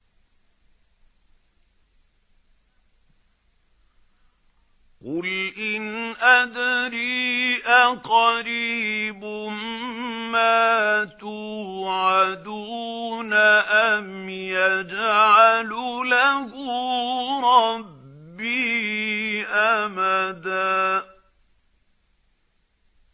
قُلْ إِنْ أَدْرِي أَقَرِيبٌ مَّا تُوعَدُونَ أَمْ يَجْعَلُ لَهُ رَبِّي أَمَدًا